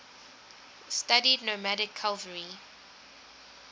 studied nomadic cavalry